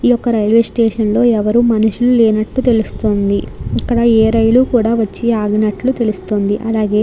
ఈ యొక్క railway station లో ఎవరు మనుషులు లేనట్టు తెలుస్తుంది ఇక్కడ ఏ రైలు కూడా వచ్చి ఆగినట్టు తెలుస్తుంది. మరియు --